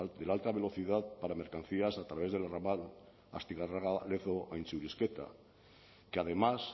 de la alta velocidad para mercancías a través del ramal astigarraga lezo gaintxurizketa que además